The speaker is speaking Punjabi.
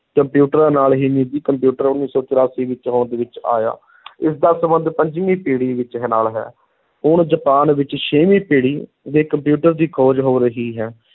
ਕੰਪਿਊਟਰਾਂ ਨਾਲ ਹੀ ਨਿੱਜੀ ਕੰਪਿਊਟਰ ਉੱਨੀ ਸੌ ਚੁਰਾਸੀ ਵਿੱਚ ਹੋਂਦ ਵਿੱਚ ਆਇਆ ਇਸਦਾ ਸੰਬੰਧ ਪੰਜਵੀਂ ਪੀੜ੍ਹੀ ਵਿੱਚ ਹੈ, ਨਾਲ ਹੈ, ਹੁਣ ਜਾਪਾਨ ਵਿੱਚ ਛੇਵੀਂ ਪੀੜੀ ਦੇ ਕੰਪਿਊਟਰ ਦੀ ਖੋਜ ਹੋ ਰਹੀ ਹੈ,